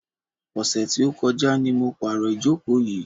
Ọ̀sẹ̀ tí ó kọjá ni mo pàrò ìjókò yìí.